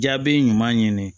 Jaabi ɲuman ɲini